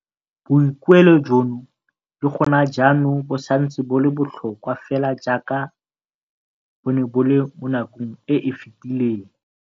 Boikuelo jono le go na jaanong bo santse bo le botlhokwa fela jaaka bo ne bo le mo nakong e e fetileng.